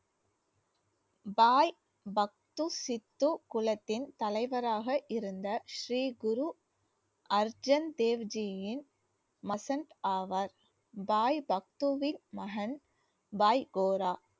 பாய் பக்து சித்து குளத்தின் தலைவராக இருந்த ஸ்ரீ குரு அர்ஜன் தேவ் ஜியின் மசந்த் ஆவார் பாய் பக்துவின் மகன் பாய் கோரா